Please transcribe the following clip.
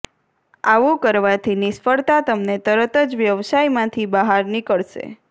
આવું કરવાથી નિષ્ફળતા તમને તરત જ વ્યવસાયમાંથી બહાર નીકળશે